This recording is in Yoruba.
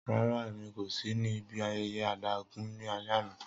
Rara, Emi ko si ni ibi ayẹyẹ adágún ni alẹ ana.